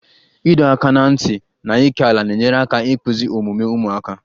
Ịdọ aka ná ntị na ókèala na-enyere aka ịkpụzi omume ụmụaka